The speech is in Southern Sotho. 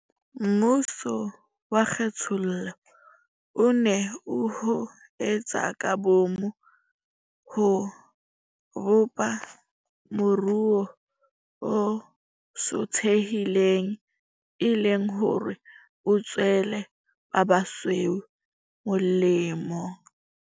Mmuso wa kgethollo o ne o ho etse ka boomo ho bopa moruo o sothehileng, e le hore o tswele ba basweu molemo.